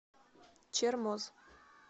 чермоз